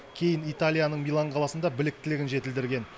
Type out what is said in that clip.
кейін италияның милан қаласында біліктілігін жетілдірген